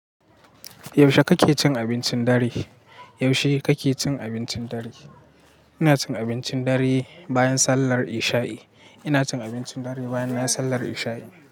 Yaushe kake cin abincin dare? Yaushe kake cin abincin dare? Ina cin abincin dare bayan sallar isha'i. Ina cin abincin dare bayan nayi sallar isha'i.